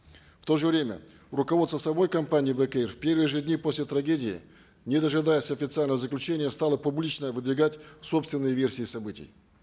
в то же время руководство самой компании бек эйр в первые же дни после трагедии не дожидаясь официального заключения стало публично выдвигать собственные версии событий